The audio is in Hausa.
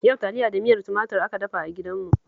Yau taliya da miyar tumatur aka dafa a gidanmu